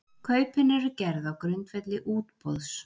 Kaupin eru gerð á grundvelli útboðs